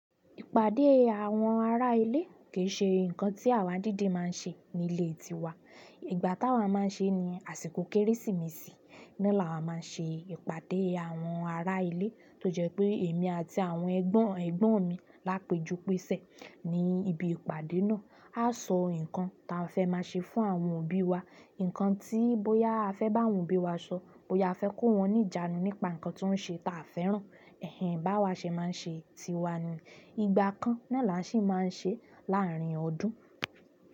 Ìpàdé àwọn ará ilé kì í ṣe nǹkan tí àwa díidi má a ń ṣe ní ilé tiwa. Ìgbà táa wa má a ń ṣe ni àsìkò Kérésìmesì. Na là wa má a n ṣe ìpàdé àwọn ará ilé, tó jẹ́ pé èmi àti àwọn ẹ̀gbọ́n mi lá a pejú pẹsẹ̀ ní ibi ìpàdé náà. A a so nkan ti a fe ma se fún àwọn òbí wa ǹkan tí bóyá a fẹ́ bá àwọn òbí wa sọ, bóyá a fẹ́ kó wọn ní ìjánu nípa nǹkan tí wọ́n ń ṣe ta a fẹ́ràn. Ẹ̀hẹ̀ń, bá wa ṣe má a ń ṣe tiwa ni. Ìgbà kan na làá ṣi má a ń ṣe láàárín ọdún.